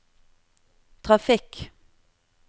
trafikk